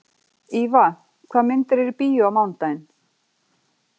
Íva, hvaða myndir eru í bíó á mánudaginn?